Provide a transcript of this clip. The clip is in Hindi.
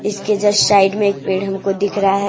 इसके जस्ट साइड में एक पेड़ हमको दिख रहा है।